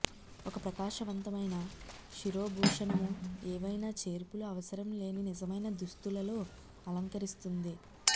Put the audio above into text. ఒక ప్రకాశవంతమైన శిరోభూషణము ఏవైనా చేర్పులు అవసరం లేని నిజమైన దుస్తులలో అలంకరిస్తుంది